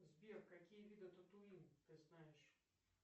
сбер какие виды татуин ты знаешь